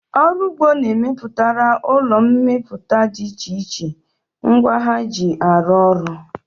Ọrụ ụgbọ na-emepụtara ụlọ mmepụta dị iche iche ngwa ha ji arụ ọrụ